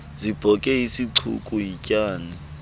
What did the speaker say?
zibhoke isicuku yityani